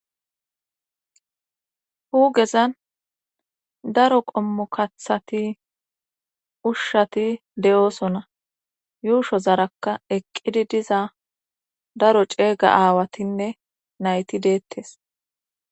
Hagezan daro qommokathati ushshati de7oosona yuusho zarakka eqqidi diza daro ceega aawatinne nayti deettes.